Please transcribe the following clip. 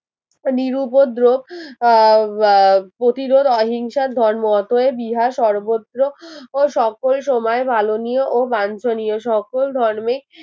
নিরুপদ্রক আহ প্রতিরোধ অহিংসার ধর্ম অতএব ইহা সর্বত্র ও সকল সময় মাননীয় ও বাঞ্ছনীয় সকল ধর্মে